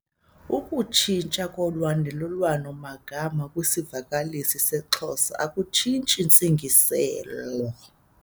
Ukutshintshwa kolandelelwano magama kwisivakalisi seXhosa akutshintshi ntsingiselo.